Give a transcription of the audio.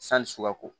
Sani sukaro ko